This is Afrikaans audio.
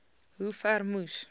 hoe ver moes